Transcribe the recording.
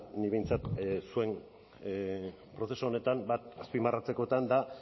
nik behintzat zuen prozesu honetan bat azpimarratzekotan da